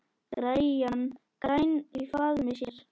græn í faðmi sér.